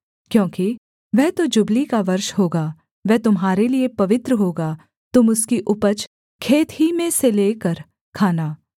क्योंकि वह तो जुबली का वर्ष होगा वह तुम्हारे लिये पवित्र होगा तुम उसकी उपज खेत ही में से ले लेकर खाना